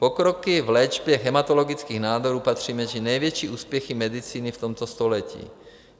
Pokroky v léčbě hematologických nádorů patří mezi největší úspěchy medicíny v tomto století.